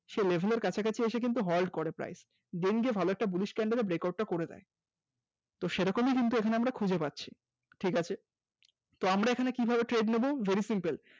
level এর কাছাকাছি এসে কিন্তু halt করে প্রায় যে দিনকে ভালো একটা bullish candle এর breakout টা করে দেয় সেরকমই কিন্তু এখানে আমরা খুঁজে পাচ্ছি। ঠিক আছে আমরা এখানে কিভাবে trade নেব very simple